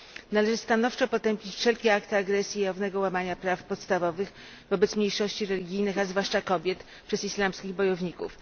Należy stanowczo potępić wszelkie akty agresji i jawnego łamania praw podstawowych wobec mniejszości religijnych, a zwłaszcza kobiet, przez islamskich bojowników.